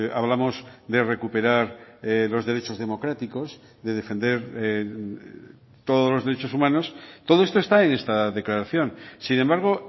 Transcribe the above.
hablamos de recuperar los derechos democráticos de defender todos los derechos humanos todo esto está en esta declaración sin embargo